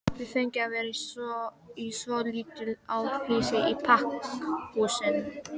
Við fengum að vera í svolitlu afhýsi í pakkhúsinu.